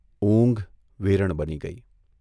ઊંઘ વેરણ બની ગઇ.